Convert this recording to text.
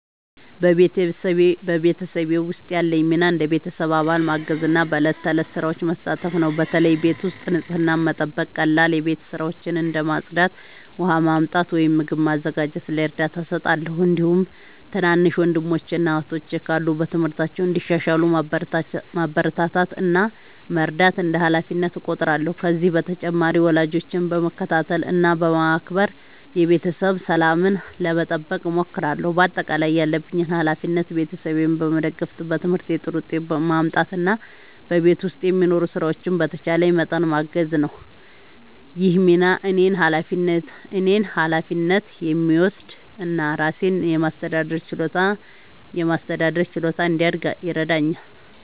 በቤተሰቤ ውስጥ ያለኝ ሚና እንደ ቤተሰብ አባል ማገዝና በዕለት ተዕለት ሥራዎች መሳተፍ ነው። በተለይ ቤት ውስጥ ንጽህናን መጠበቅ፣ ቀላል የቤት ሥራዎችን እንደ ማጽዳት፣ ውሃ ማመጣት ወይም ምግብ ማዘጋጀት ላይ እርዳታ እሰጣለሁ። እንዲሁም ትናንሽ ወንድሞችና እህቶች ካሉ በትምህርታቸው እንዲሻሻሉ ማበረታታት እና መርዳት እንደ ሃላፊነቴ እቆጥራለሁ። ከዚህ በተጨማሪ ወላጆቼን በመከታተል እና በማክበር የቤተሰብ ሰላምን ለመጠበቅ እሞክራለሁ። በአጠቃላይ ያለብኝ ሃላፊነት ቤተሰቤን መደገፍ፣ በትምህርቴ ጥሩ ውጤት ማምጣት እና በቤት ውስጥ የሚኖሩ ሥራዎችን በተቻለኝ መጠን ማገዝ ነው። ይህ ሚና እኔን ኃላፊነት የሚወስድ እና ራሴን የማስተዳደር ችሎታ እንዲያድግ ይረዳኛል።